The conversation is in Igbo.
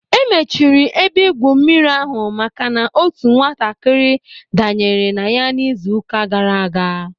E mechiri ebe igwu mmiri ahụ maka na otu nwatakịrị danyere na ya n'izu ụka gaara aga.